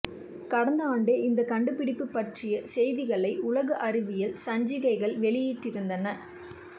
கடந்த ஆண்டே இந்தக் கண்டுபிடிப்பு பற்றிய செய்திகளை உலக அறிவியல் சஞ்சிகைகள் வெளியிட்டிருந்தன